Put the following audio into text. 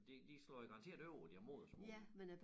Og de de slår jo garanteret over i deres modersmål